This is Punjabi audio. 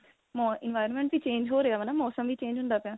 ਮੋ environment ਵੀ change ਹੋ ਰਿਹਾ ਵਾ ਨਾ ਮੋਸਮ ਵੀ change ਹੁੰਦਾ ਪਿਆ.